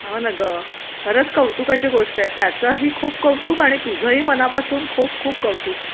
हो ना गं... खरंच कौतुकाची गोष्ट आहे त्याचेही खूप कौतुक आणि तुझंही अगदी मनापासून खूप खूप कौतुक